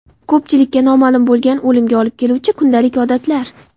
Ko‘pchilikka noma’lum bo‘lgan o‘limga olib keluvchi kundalik odatlar .